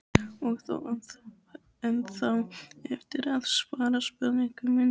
Og þú átt ennþá eftir að svara spurningu minni.